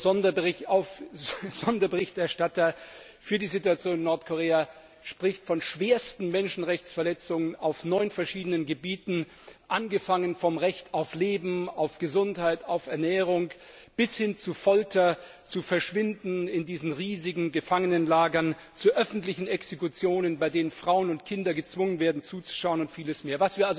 Der UN Sonderberichterstatter für die Situation in Nordkorea spricht von schwersten Menschenrechtsverletzungen auf neun verschiedenen Gebieten, angefangen vom Recht auf Leben, auf Gesundheit, auf Ernährung, bis hin zu Folter und dem Verschwinden in riesigen Gefangenenlagern, zu öffentlichen Exekutionen, bei denen Frauen und Kinder gezwungen werden, zuzuschauen, und vieles mehr.